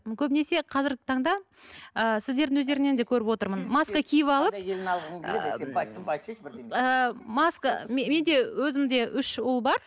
көбінесе қазіргі таңда ы сіздердің өздеріңнен де көріп отырмын маска киіп алып ы маска менде өзімде үш ұл бар